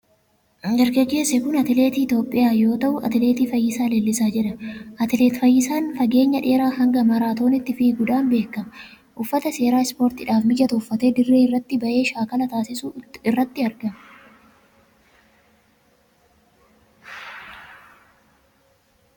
Dargaggeessi kun atileetii Itiyoophiyaa yoo ta'u, atileet Fayyisaa Leellisaa jedhama. Atileet Fayyisaan fageenya dheeraa hanga maaraatooniitti fiiguudhaan beekama. Uffata seeraa ispoortiidhaaf mijatu uffatee dirree irratti ba'ee shaakala taasisuu irratti argama.